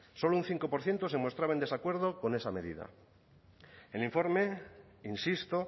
solo un cinco por ciento se mostraba en desacuerdo con esa medida el informe insisto